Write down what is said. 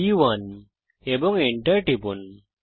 B one এবং enter টিপুন